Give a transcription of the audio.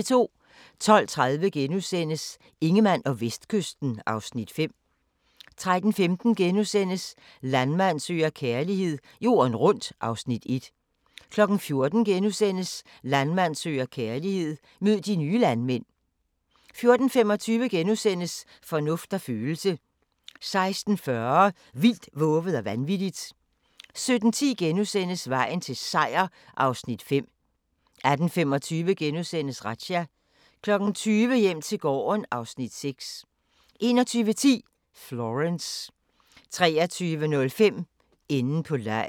12:30: Ingemann og Vestkysten (Afs. 5)* 13:15: Landmand søger kærlighed - jorden rundt (Afs. 1)* 14:00: Landmand søger kærlighed - mød de nye landmænd * 14:25: Fornuft og følelse * 16:40: Vildt, vovet og vanvittigt 17:10: Vejen til Seier (Afs. 5)* 18:25: Razzia * 20:00: Hjem til gården (Afs. 6) 21:10: Florence 23:05: Enden på legen